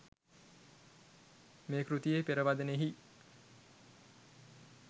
මේ කෘතියේ පෙරවදනෙහි